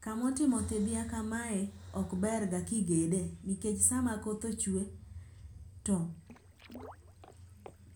Kamo timo thidhya kamae ok ber ga kigedie nikech sama koth ochwe